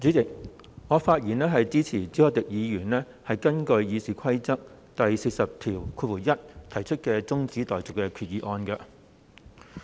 主席，我發言支持朱凱廸議員根據《議事規則》第401條提出的中止待續議案。